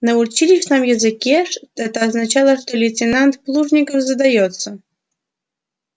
на училищном языке это означало что лейтенант плужников задаётся